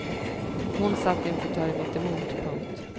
Hon satt i en fåtölj mittemot. punkt